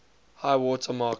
high water mark